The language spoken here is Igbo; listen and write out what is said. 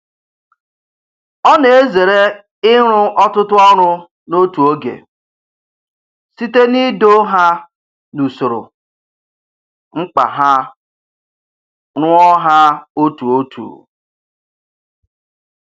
Ọ na-ezere ịrụ ọtụtụ ọrụ n'otu oge, site n'ido ha n'usoro mkpa ha rụọ ha otu otu.